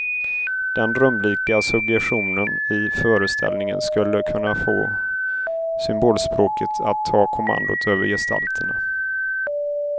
Den drömlika suggestionen i föreställningen skulle kunna få symbolspråket att ta kommandot över gestalterna.